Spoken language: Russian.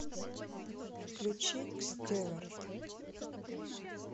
включи кстеварт